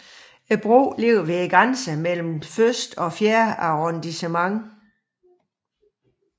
Broen ligger ved grænsen mellem første og fjerde arrondissement